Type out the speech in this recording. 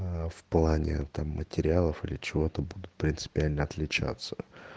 аа в плане там материалов или чего-то будут принципиально отличаться